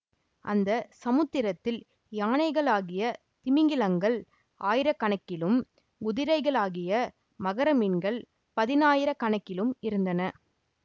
அந்த சமுத்திரத்தில் யானைகளாகிய திமிங்கிலங்கள் ஆயிரக்கணக்கிலும் குதிரைகளாகிய மகர மீன்கள் பதினாயிரக்கணக்கிலும் இருந்தன